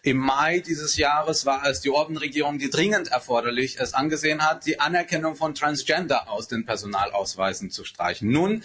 Im Mai dieses Jahres war es die Orbán-Regierung, die es als dringend erforderlich angesehen hat, die Anerkennung von Transgender aus den Personalausweisen zu streichen.